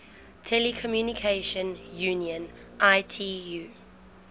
telecommunication union itu